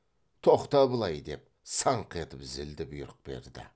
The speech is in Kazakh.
тоқта былай деп саңқ етіп зілді бұйрық берді